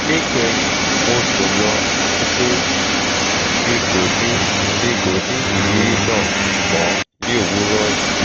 ni kehin mo sun lo ati pe mi ko ni mi ko ni iriri naa mọ ni owurọ yii